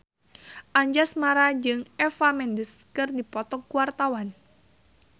Anjasmara jeung Eva Mendes keur dipoto ku wartawan